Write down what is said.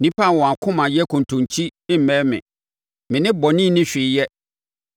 Nnipa a wɔn akoma yɛ kontonkyi remmɛn me; me ne bɔne nni hwee yɛ.